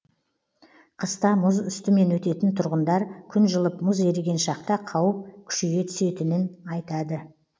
қыста мұз үстімен өтетін тұрғындар күн жылып мұз еріген шақта қауіп күшейе түсетінін айтады